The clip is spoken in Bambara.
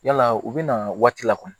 Yala u bɛna waati la kɔni